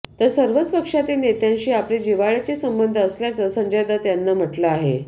तर सर्वच पक्षातील नेत्यांशी आपले जिव्हाळ्याचे संबंध असल्याचं संजय दत्त यानं म्हटलं आहे